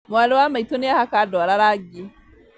Mwarĩ wa maitũ nĩahaka ndwara rangi